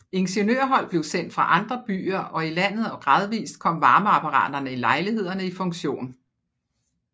Ingeniørhold blev sendt fra andre byer og i landet og gradvist kom varmeapparaterne i lejlighederne i funktion